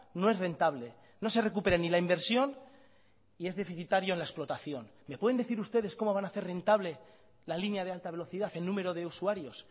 no es rentable no se recupera ni la inversión y es deficitario la explotación me pueden decir ustedes cómo van a hacer rentable la línea de alta velocidad el número de usuarios